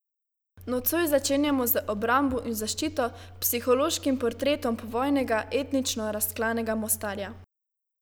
Nocoj začenjamo z Obrambo in zaščito, psihološkim portretom povojnega, etnično razklanega Mostarja.